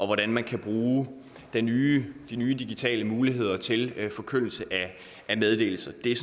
hvordan man kan bruge de nye nye digitale muligheder til forkyndelse af meddelelse det er